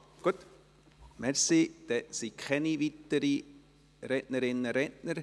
– Gut, dann gibt es keine weiteren Rednerinnen und Redner.